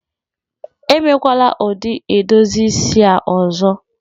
Emekwala ụdị edozi isi a ọzọ!